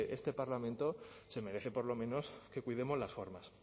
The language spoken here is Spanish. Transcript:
este parlamento se merece por lo menos que cuidemos las formas